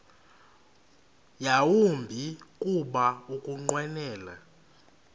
yawumbi kuba ukunqwenela